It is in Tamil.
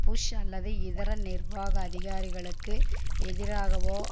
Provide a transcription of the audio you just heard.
புஷ் அல்லது இதர நிர்வாக அதிகாரிகளுக்கு எதிராகவோ